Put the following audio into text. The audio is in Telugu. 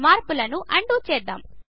మార్పులను అన్డూ చేద్దాము